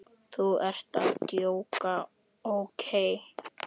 Þú ert að djóka, ókei?